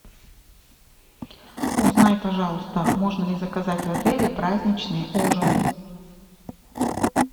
узнай пожалуйста можно ли заказать в отеле праздничный ужин